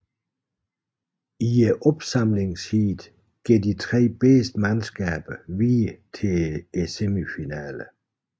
I opsamlingsheatet går de tre bedste mandskaber videre til semifinalerne